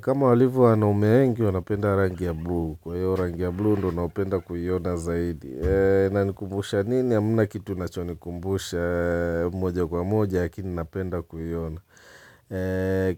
Kama walivo wanaume wengi, wanapenda rangi ya blue. Kwa hiyo rangi ya blue, ndio napenda kuiona zaidi. Inanikumbusha nini? Hamna kitu unachonikumbusha moja kwa moja, lakini napenda kuiona.